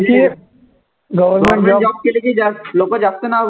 की government job केले की जा लोकं जास्त नाव घेतात.